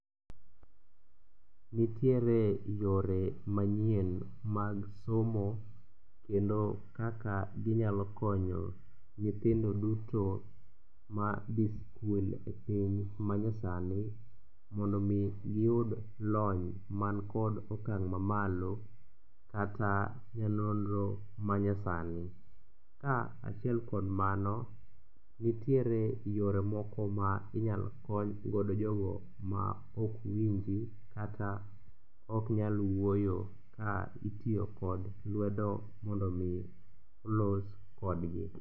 Nitiere yore manyien mag somo kendo kaka ginyalo konyo nyithindo duto ma dhi skul e piny manyasani mondo omi giyud lony mankod okang' mamalo kata ne nonro manyasani. Ka achiel kod mano, nitiere yore moko ma inyalo konygodo jogo maok winji kata oknyal wuoyo ka itiyo kod lwedo mondo omi los kodgi.